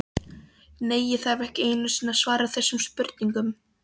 Nei, ég þarf ekki einu sinni að svara þessum spurningum.